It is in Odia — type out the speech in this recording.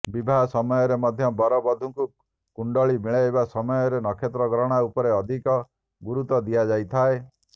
ବିବାହ ସମୟରେ ମଧ୍ୟ ବର ବଧୂଙ୍କ କୁଣ୍ଡଳି ମିଳାଇବା ସମୟରେ ନକ୍ଷତ୍ର ଗଣନା ଉପରେ ଅଧିକ ଗୁରୁତ୍ୱ ଦିଆଯାଇଥାଏ